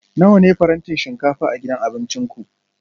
Nawa ne farantin shinkafa a gidan abincin ku?